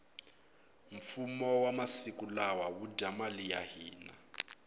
fumo wa masiku lawa wu dya mali ya hina